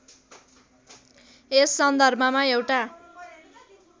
यस सन्दर्भमा एउटा